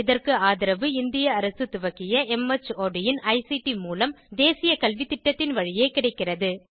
இதற்கு ஆதரவு இந்திய அரசு துவக்கிய மார்ட் இன் ஐசிடி மூலம் தேசிய கல்வித்திட்டத்தின் வழியே கிடைக்கிறது